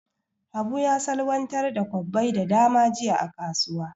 Habu ya salwantar da kwabbai da dama jiya a kasuwa.